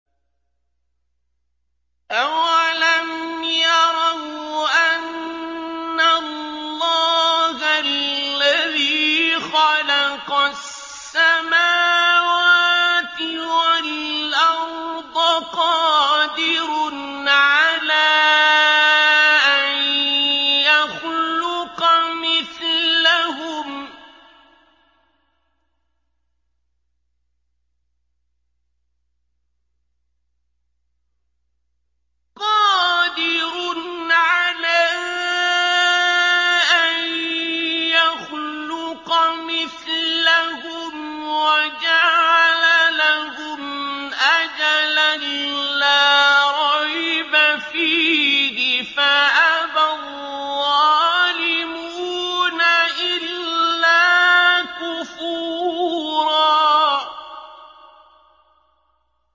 ۞ أَوَلَمْ يَرَوْا أَنَّ اللَّهَ الَّذِي خَلَقَ السَّمَاوَاتِ وَالْأَرْضَ قَادِرٌ عَلَىٰ أَن يَخْلُقَ مِثْلَهُمْ وَجَعَلَ لَهُمْ أَجَلًا لَّا رَيْبَ فِيهِ فَأَبَى الظَّالِمُونَ إِلَّا كُفُورًا